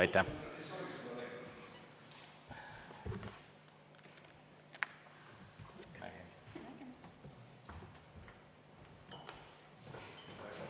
Aitäh!